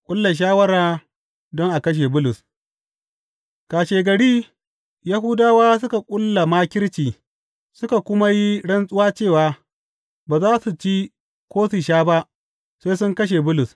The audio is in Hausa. Ƙulla shawara don a kashe Bulus Kashegari, Yahudawa suka ƙulla makirci suka kuma yi rantsuwa cewa ba za su ci ko sha ba sai sun kashe Bulus.